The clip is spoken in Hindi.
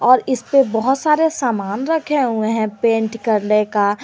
और इस पे बहुत सारे सामान रखे हुए हैं पेंट करने का।